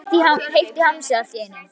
Heitt í hamsi allt í einu.